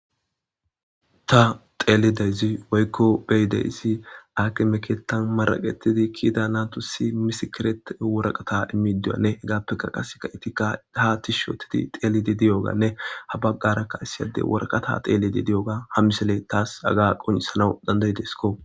Ta xeelideyzi woykko beyideyisi ake meketan maraqetidi kiida naatu si misikeret woraqata imidiyanne hegaappeka qaseka itika ha tishshootidi xeelidi diyoganne habaggarakka issiyadey workata teelidi di7oga ham misele taas aga qoncisana dandayideskko.